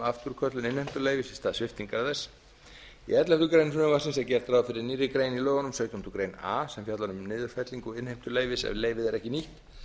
afturköllun innheimtuleyfis í stað sviptingar þess í elleftu greinar frumvarpsins er gert ráð fyrir nýrri grein í lögunum sautjándu grein a sem fjallar um niðurfellingu innheimtuleyfis ef leyfið er ekki nýtt